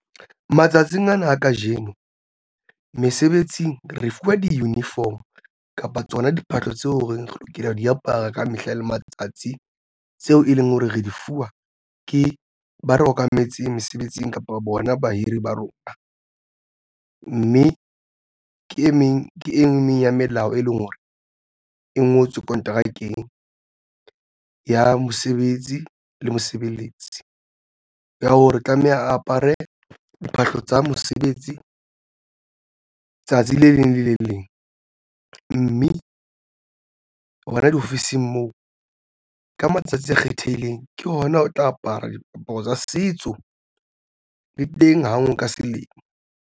Matsatsing ana a kajeno mesebetsing re fuwa di-uniform kapa tsona diphahlo tseo re lokela ho di apara ka mehla le matsatsi tseo e leng hore re di fuwa ke ba re okametseng mesebetsing kapa bona bahiri ba rona, mme ke e meng ke e nngwe e meng ya melao e leng hore e ngotswe kontrakeng ya mosebetsi le mosebeletsi ya hore tlameha a apare diphahlo tsa mosebetsi tsatsi le leng le le leng mme hona diofising moo ka matsatsi a kgethehileng ke hona o tla apara diaparo tsa setso le teng ha ngwe ka selemo.